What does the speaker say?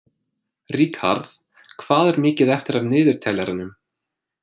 Ríkharð, hvað er mikið eftir af niðurteljaranum?